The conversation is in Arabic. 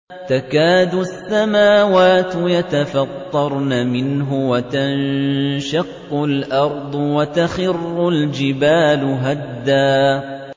تَكَادُ السَّمَاوَاتُ يَتَفَطَّرْنَ مِنْهُ وَتَنشَقُّ الْأَرْضُ وَتَخِرُّ الْجِبَالُ هَدًّا